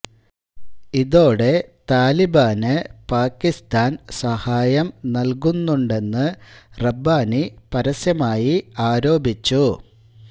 ഇതോടെ താലിബാന് പാകിസ്താൻ സഹായം നൽകുന്നുണ്ടെന്ന് റബ്ബാനി പരസ്യമായി ആരോപിച്ചു